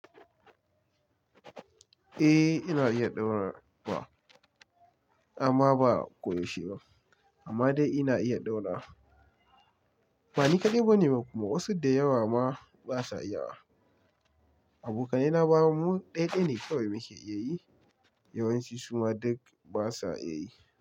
Eh ina iya ɗaura wa amma ba koyaushe ba amma dai ina iya ɗaura. Bani kaɗai bane bakuma, wasu da yawa ma basa iya. Abokanai na ba mu ɗaya ɗaya ne kawai muke iya yi yawanci, kuma duk basa iya yi.